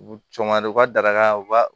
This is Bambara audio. U cɔ ma don u ka darakaw